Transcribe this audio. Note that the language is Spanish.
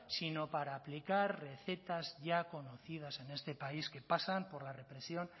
sino para aplicar recetas ya conocidas en este país que pasan por la represión